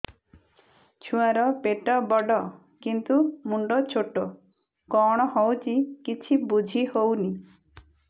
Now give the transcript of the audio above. ଛୁଆର ପେଟବଡ଼ କିନ୍ତୁ ମୁଣ୍ଡ ଛୋଟ କଣ ହଉଚି କିଛି ଵୁଝିହୋଉନି